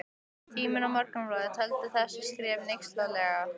Tíminn og Morgunblaðið töldu þessi skrif hneykslanleg.